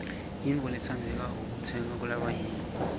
yintfo lentsandzekako kutsenga kulabanyenti